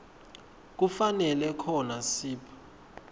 kufanele khona sib